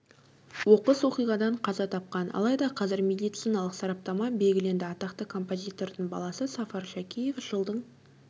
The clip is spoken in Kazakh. оқыс оқиғадан қаза тапқан алайда қазір медициналық сараптама белгіленді атақты композитордың баласы сафар шәкеев жылдың